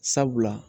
Sabula